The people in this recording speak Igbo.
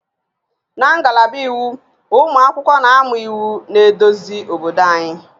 Na ngalaba Iwu, ụmụ akwụkwọ na-amụ iwu na-eduzi obodo anyị